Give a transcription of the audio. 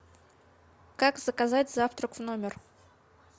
как заказать завтрак в номер